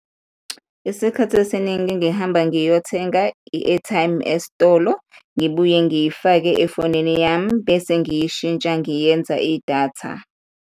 Isikhathi esiningi ngihamba ngiyothenga i-airtime esitolo, ngibuye ngiyifake efonini yami bese ngiyishintsha, ngiyiyenza idatha.